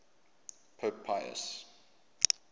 pope pius